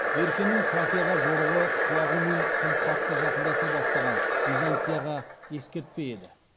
беркенің фракияға жорығы құлағумен тым қатты жақындаса бастаған византияға ескертпе еді